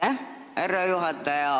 Aitäh, härra juhataja!